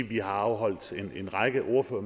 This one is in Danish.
vi afholdt en række